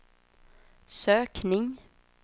sökning